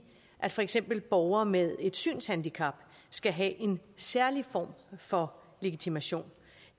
at for eksempel borgere med et synshandicap skal have en særlig form for legitimation